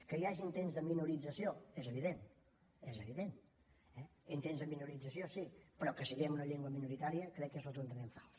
que hi hagi intents de minorització és evident és evident intents de minorització sí però que siguem una llengua minoritària crec que és rotundament fals